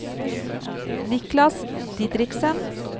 Niklas Didriksen